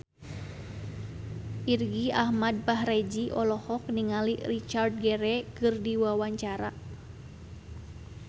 Irgi Ahmad Fahrezi olohok ningali Richard Gere keur diwawancara